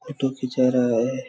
Photo खींचा रहा है।